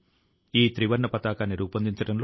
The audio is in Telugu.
ఇది మిమ్మల్ని ఆనందపరుస్తుంది